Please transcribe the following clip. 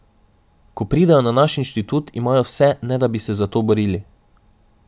Ko pridejo na naš inštitut, imajo vse, ne da bi se za to borili.